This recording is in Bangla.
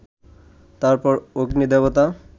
তার পর অগ্নিদেবতা